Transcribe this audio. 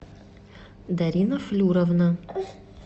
дарина флюровна